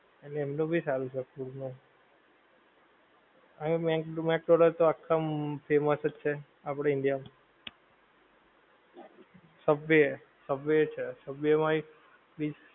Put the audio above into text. અને એમનું ભી સારું છે food નું, હવે mac mac donald તો આખા famous અજ છે આપડા india માં , subway subway છે subway માં એક